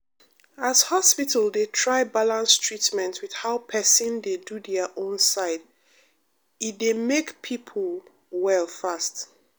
as hospital dey try balance treatment with how person dey do their own side e dey make people well fast.